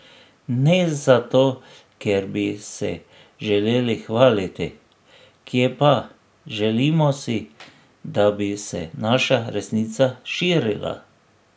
Ne za to, ker bi se želeli hvaliti, kje pa, želimo si, da bi se naša resnica širila.